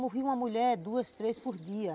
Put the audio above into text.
Morria uma mulher duas, três por dia.